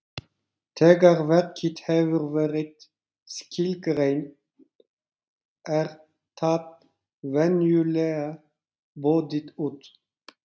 Þegar verkið hefur verið skilgreint er það venjulega boðið út.